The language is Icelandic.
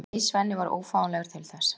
Nei, Svenni var ófáanlegur til þess.